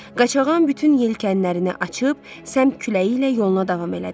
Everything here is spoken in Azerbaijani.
Qaçağan bütün yelkənlərini açıb səmt küləyi ilə yoluna davam elədi.